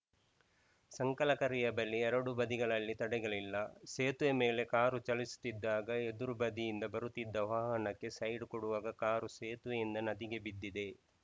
ಸಂಕಲಕರಿಯ ಬಳಿ ಎರಡು ಬದಿಗಳಲ್ಲಿ ತಡೆಗಳಿಲ್ಲ ಸೇತುವೆ ಮೇಲೆ ಕಾರು ಚಲಿಸುತ್ತಿದ್ದಾಗ ಎದುರು ಬದಿಯಿಂದ ಬರುತ್ತಿದ್ದ ವಾಹನಕ್ಕೆ ಸೈಡ್‌ ಕೊಡುವಾಗ ಕಾರು ಸೇತುವೆಯಿಂದ ನದಿಗೆ ಬಿದ್ದಿದೆ